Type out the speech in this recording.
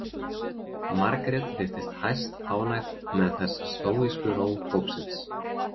Margrét virtist hæstánægð með þessa stóísku ró hópsins.